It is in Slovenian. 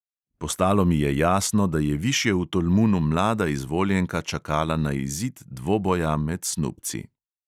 Postalo mi je jasno, da je višje v tolmunu mlada izvoljenka čakala na izid dvoboja med snubci.